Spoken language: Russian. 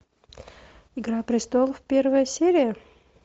игра престолов первая серия